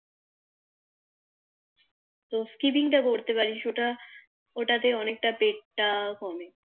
ওই স্পিকিং টা করতে পারিস ওটা ওটাতে অনেকটা পেট টা কমে